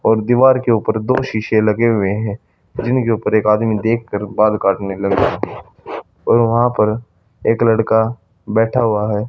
और दीवार के ऊपर दो शीशे लगे हुए हैं जिनके ऊपर एक आदमी देख कर बाल काटने लगा और वहां पर एक लड़का बैठा हुआ है।